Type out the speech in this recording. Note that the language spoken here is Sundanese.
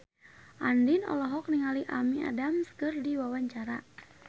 Andien olohok ningali Amy Adams keur diwawancara